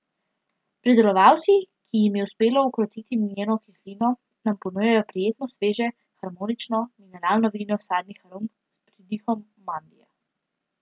Pridelovalci, ki jim je uspelo ukrotiti njeno kislino, nam ponujajo prijetno, sveže, harmonično, mineralno vino sadnih arom s pridihom mandlja.